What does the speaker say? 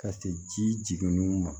Ka se ji jiginniw ma